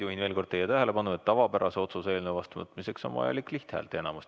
Juhin veel kord teie tähelepanu, et tavapärase otsuse eelnõu vastuvõtmiseks on vaja lihthäälteenamust.